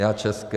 Já české.